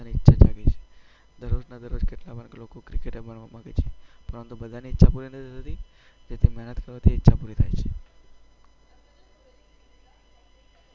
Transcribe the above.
દરરોજ કેટલાક લોકો ક્રિકટ રમવા ઈચ્છે છે, પરંતુ બધાની ઈચ્છા પૂરી નથી થતી. જેથી મહેનત કરવાથી પૂરી થાય છે.